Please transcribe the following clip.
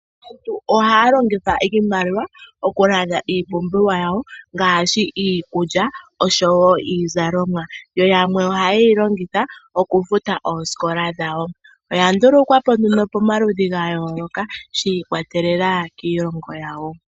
Aantu ohaya longitha iimaliwa oku landa iipumbiwa yawo ngaashi iikulya nosho woo iizalomwa. Yamwe oha ye yi longitha oku futa oosikola dhawo . Oya ndulukwapo nduno pomaludhi ga yooloka shi ikwatelela kiilongo yawo.